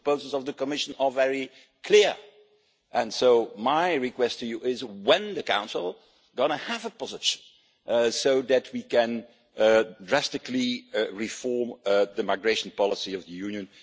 The proposals of the Commission are very clear. And so my request to you is when is the Council going to have a position so that we can drastically reform the migration policy of the Union?